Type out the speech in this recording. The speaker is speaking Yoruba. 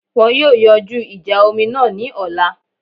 Wọn yóò yanjú ìjà omi náà ní ọ̀la